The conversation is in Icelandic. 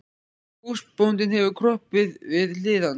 Húsbóndinn hefur kropið við hlið hans.